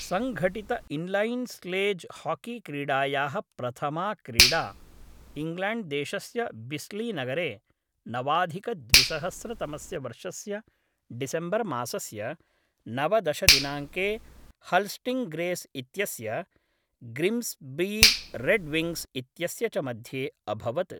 सङ्घटित inline sledge हाकीक्रीडायाः प्रथमा क्रीडा इङ्ग्लाण्ड्देशस्य बिस्लीनगरे नवाधिकद्विसहस्रतमस्य वर्षस्य डिसेम्बर्मासस्य नवदश दिनाङ्के हल् स्टिङ्ग्रेस् इत्यस्य ग्रिम्स् बीरेड्विङ्ग्स् इत्यस्य च मध्ये अभवत्।